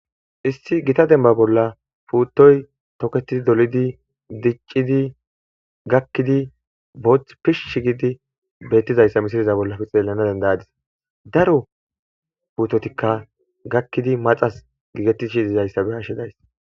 Issi gita demba bolla puuttoy toketidi, dolidi, diccidi, gakkidi, booththi pishshi gidi beettizayssa misileza bollappe xeellana denda'adis; daro puuttotikka gakkidi maxas giigetishe dizayssa be'ashe days.